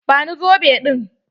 Ba ni zobe ɗin!